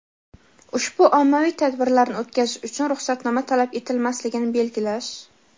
ushbu ommaviy tadbirlarni o‘tkazish uchun ruxsatnoma talab etilmasligini belgilash.